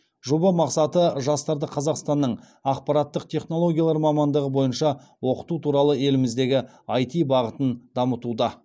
жоба мақсаты жастарды қазақстанның ақпараттық технологиялар мамандығы бойынша оқыту туралы еліміздегі іт бағытын дамытуда